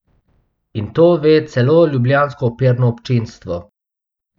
In to ve celo ljubljansko operno občinstvo.